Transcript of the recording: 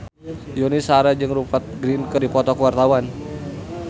Yuni Shara jeung Rupert Grin keur dipoto ku wartawan